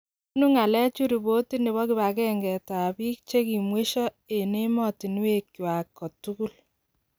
Bunuu ng'aaleechu ripotit nebo kibange'nget ab biik chekimweisho emotunwekwak en ngwany kotugul.